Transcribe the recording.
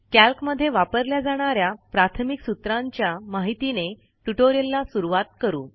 कॅल्कमध्ये वापरल्या जाणा या प्राथमिक सूत्रांच्या माहितीने ट्युटोरियलला सुरूवात करू